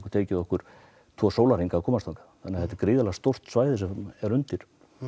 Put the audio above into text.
tekið okkur tvo að komast þangað þetta er gríðarlega stórt svæði sem er undir